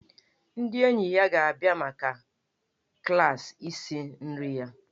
Ndị enyi ya ga-abịa maka klaasị isi nri ya.